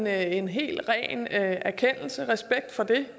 er en helt ren erkendelse respekt for det